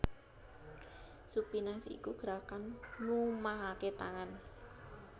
Supinasi iku gerakan mlumahaké tangan